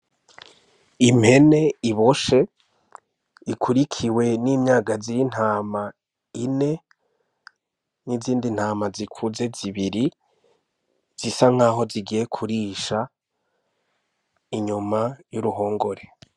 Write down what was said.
Impene iboshe ikurikiwe n'imyagazi y'intama ine n'izindi ntama zikuze zibiri zisa nkaho zigiye kurisha inyuma y'uruhongore.